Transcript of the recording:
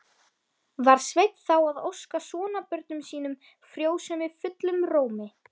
Var Sveinn þá að óska sonarbörnum sínum frjósemi fullum rómi.